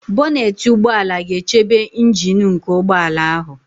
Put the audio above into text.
Bonetị ụgbọala ga-echebe ịnjin nke ụgbọala ahụ